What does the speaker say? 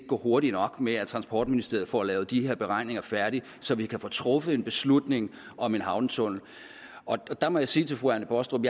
gå hurtigt nok med at transportministeriet får lavet de her beregninger færdige så vi kan få truffet en beslutning om en havnetunnel der må jeg sige til fru anne baastrup